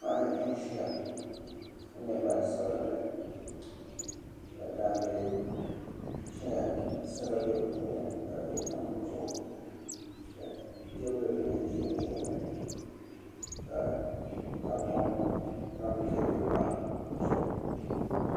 Paɣa n ʒiya ka nyɛ gban sabinli ka daangi ʒɛya ka sala bɛ di puuni ka duɣu tam di zuɣu ka teebuli bili ʒɛ o tooni ka tahapoŋ tam teebuli maa zuɣu